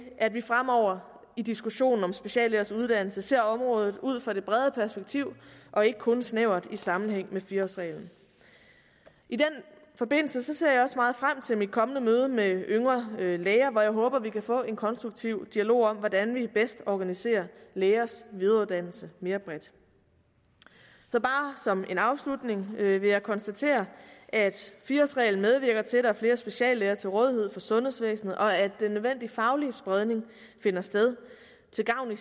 at vi fremover i diskussionen om speciallægers uddannelse ser området ud fra det brede perspektiv og ikke kun snævert i sammenhæng med fire årsreglen i den forbindelse ser jeg også meget frem til mit kommende møde med yngre læger hvor jeg håber at vi kan få en konstruktiv dialog om hvordan vi bedst organiserer lægers videreuddannelse mere bredt så bare som en afslutning vil jeg konstatere at fire årsreglen medvirker til at der er flere speciallæger til rådighed for sundhedsvæsenet og at den nødvendige faglige spredning i finder sted til gavn